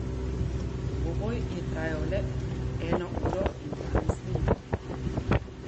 Dvoboj je trajal le eno uro in dvanajst minut.